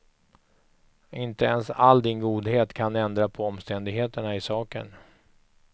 Inte ens all din godhet kan ändra på omständigheterna i saken.